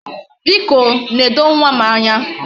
Biko, nedo nwa m anya.